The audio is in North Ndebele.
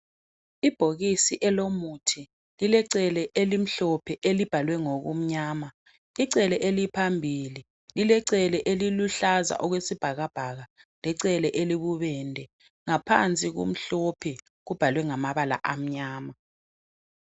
ibhokisi elomuthi lilecele elimhlophe elibhalwe ngokumnyama icele eliphambili lilecele elibuhlaza okwesibhakabhaka licele elibubende ngaphansi kumhlophe kubhalwe ngamabala amnyama